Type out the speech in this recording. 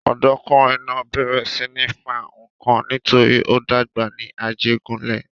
Ọ̀dọ́kùnrin náà bẹ̀rẹ̀ sí ní fa nǹkan nítorí ó dàgbà ní Ajégúnlẹ̀.